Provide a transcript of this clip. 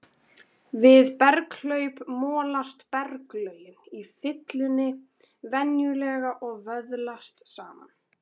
Við berghlaup molast berglögin í fyllunni venjulega og vöðlast saman.